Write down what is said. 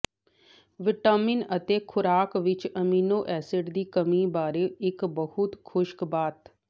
vitamin ਅਤੇ ਖੁਰਾਕ ਵਿੱਚ ਅਮੀਨੋ ਐਸਿਡ ਦੀ ਕਮੀ ਬਾਰੇ ਇੱਕ ਬਹੁਤ ਖੁਸ਼ਕ ਬਾਤ